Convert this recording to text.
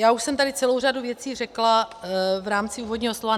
Já už jsem tady celou řadu věcí řekla v rámci úvodního slova.